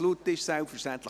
Guten Morgen miteinander.